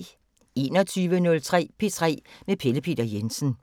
21:03: P3 med Pelle Peter Jensen